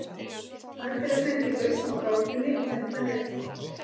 Hægt er að senda inn lausn á gátunni á þetta netfang.